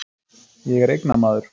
Ég er eignamaður.